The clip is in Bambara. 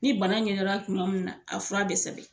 Ni bana ɲɛ dɔn na kuma min na a fura be sɛbɛn